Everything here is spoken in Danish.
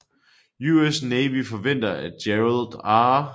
US Navy forventer at Gerald R